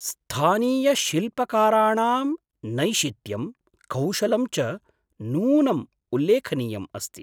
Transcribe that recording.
स्थानीयशिल्पकाराणां नैशित्यं, कौशलं च नूनम् उल्लेखनीयम् अस्ति।